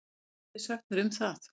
Hvað getið þið sagt mér um það?